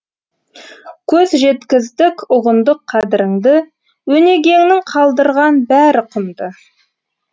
көз жеткіздік ұғындық қадіріңді өнегеңнің қалдырған бәрі құнды